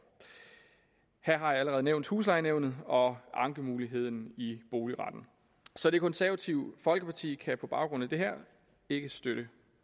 her har jeg allerede nævnt huslejenævnet og ankemuligheden i boligretten så det konservative folkeparti kan på baggrund af det her ikke støtte